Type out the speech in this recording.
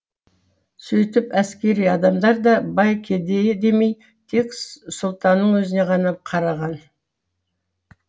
сөйтіп әскери адамдар да бай кедейі демей тек сұлтанның өзіне ғана қараған